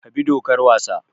Ka bi dokar wasa!